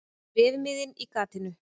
Bréfmiðinn í gatinu.